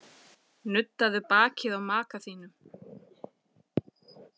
Nuddaðu bakið á maka þínum.